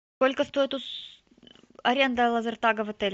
сколько стоит аренда лазертага в отеле